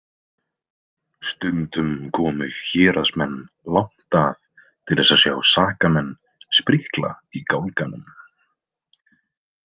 Stundum komu héraðsmenn langt að til þess að sjá sakamenn sprikla í gálganum.